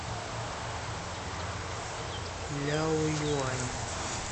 ляоюань